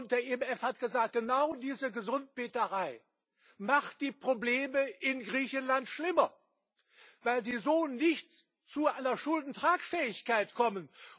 Der IMF hat gesagt Genau diese Gesundbeterei macht die Probleme in Griechenland schlimmer, weil sie so nicht zu einer Schuldentragfähigkeit kommen.